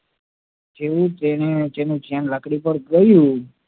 જેવું તેનું ધ્યાન લાકડી ઉપર ગયું